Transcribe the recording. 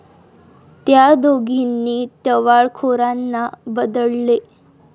त्या दोघींनी टवाळखोरांना बदडले